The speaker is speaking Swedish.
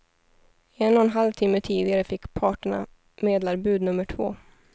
En och en halv timme tidigare fick parterna medlarbud nummer två.